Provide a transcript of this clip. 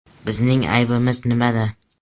Bizning aybimiz nimada?